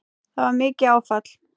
Það var mikið áfall.